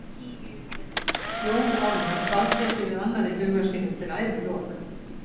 Jón Ármann dvaldi ekki við annað í huga sínum til æviloka.